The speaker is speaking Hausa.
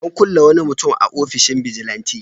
An kulle wani mutum a ofishin bijilanti.